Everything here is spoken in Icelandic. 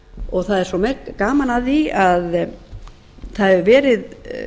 stjórnmálasöguna það er gaman að því að það hefur verið